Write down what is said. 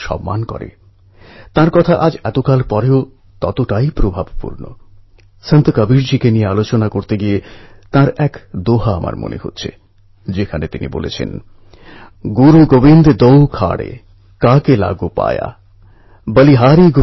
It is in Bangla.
তৌধকপুর নামে রায়বেরিলির এই গ্রামটির গ্রামপ্রধান ডিস্ট্রিক্ট ম্যাজিস্ট্রেট সিডিও সকলে মিলে এই অ্যাপটি ব্যবহার করার জন্য সাধারণ গ্রামবাসীকে উৎসাহ দিয়েছেন